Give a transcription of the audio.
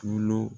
Tulo